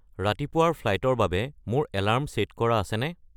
ৰাতিপুৱাৰ ফ্লাইটৰ বাবে মোৰ এলাৰ্ম ছে’ট কৰা আছেনে